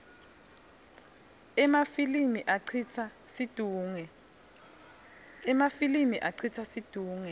emafilimi acitsa situngle